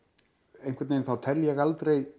einhvern veginn þá tel ég aldrei